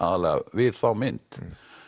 við þá mynd